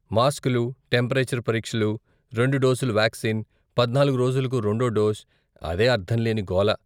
మాస్క్లు, టెంపరేచర్ పరీక్షలు, రెండు డోసుల వాక్సీన్, పద్నాలుగు రోజులకు రెండో డోస్, అదే అర్ధంలేని గోల.